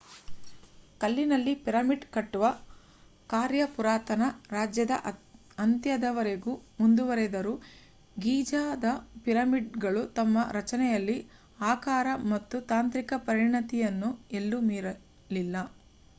ಕಲ್ಲಿನಲ್ಲಿ ಪಿರಮಿಡ್ ಕಟ್ಟುವ ಕಾರ್ಯ ಪುರಾತನ ರಾಜ್ಯದ ಅಂತ್ಯದವರೆಗೂ ಮುಂದುವರೆದರೂ ಗೀಜಾದ ಪಿರಮಿಡ್‌ಗಳು ತಮ್ಮ ರಚನೆಯಲ್ಲಿ ಆಕಾರ ಮತ್ತು ತಾಂತ್ರಿಕ ಪರಿಣಿತಿಯನ್ನು ಎಲ್ಲೂ ಮೀರಲಿಲ್ಲ